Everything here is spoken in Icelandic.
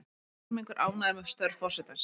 Helmingur ánægður með störf forsetans